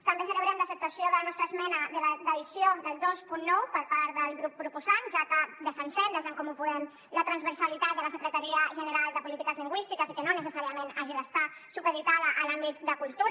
també celebrem l’acceptació de la nostra esmena d’addició del vint nou per part del grup proposant ja que defensem des d’en comú podem la transversalitat de la secretaria general de política lingüística i que no necessàriament hagi d’estar supeditada a l’àmbit de cultura